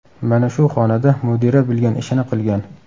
Mana shu xonada mudira bilgan ishini qilgan.